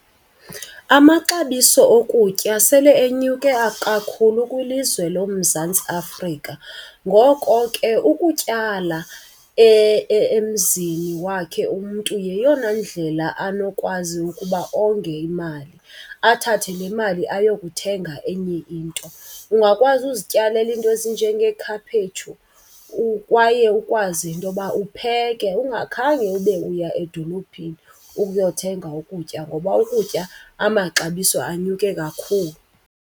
Amaxabiso okutya sele enyuke kakhulu kwilizwe loMzantsi Afrika, ngoko ke ukutyala emzini wakhe umntu yeyona ndlela anokwazi ukuba onge imali, athathe le mali ayokuthenga enye into. Ungakwazi uzityalela iinto ezinjengeekhaphetshu kwaye ukwazi intoba upheke ungakhange ube uya edolophini ukuyothenga ukutya ngoba ukutya amaxabiso anyuke kakhulu.